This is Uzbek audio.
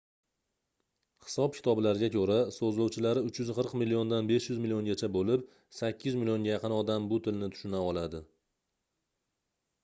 hisob-kitoblarga koʻra soʻzlovchilari 340 milliondan 500 milliongacha boʻlib 800 millionga yaqin odam bu tilni tushuna oladi